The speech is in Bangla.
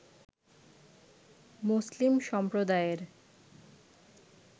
মুসলিম সম্প্রদায়ের